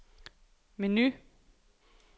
menu